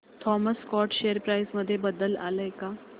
Thomas Scott share price मध्ये बदल आलाय का